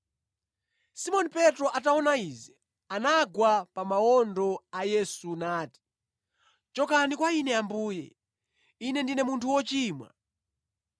Simoni Petro ataona izi, anagwa pa mawondo a Yesu nati, “Chokani kwa ine Ambuye: Ine ndine munthu wochimwa!”